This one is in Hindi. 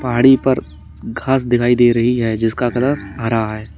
पहाड़ी पर घास दिखाई दे रही है जिसका कलर हरा है।